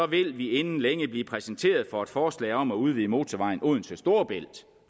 vil vi inden længe blive præsenteret for et forslag om at udvide motorvejen odense storebælt